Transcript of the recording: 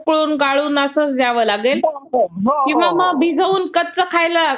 उकळून गाळून असंच द्यावं लागेल भिजवून कच्चं खायला